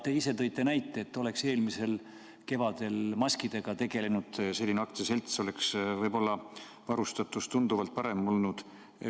Te ise tõite näite, et oleks eelmisel kevadel maskidega tegelenud selline aktsiaselts, oleks võib-olla varustatus tunduvalt parem olnud.